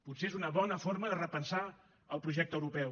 potser és una bona forma de repensar el projecte europeu